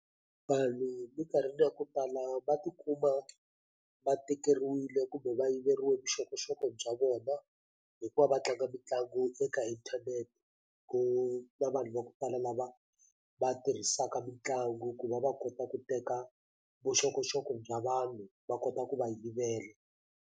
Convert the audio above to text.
Vanhu mikarhini ya ku tala va tikuma va tekeriwile kumbe va yiveriwe vuxokoxoko bya vona hi ku va va tlanga mitlangu eka intanente ku na vanhu va kutala lava va tirhisaka mitlangu ku va va kota ku teka vuxokoxoko bya vanhu va kota ku va yivela.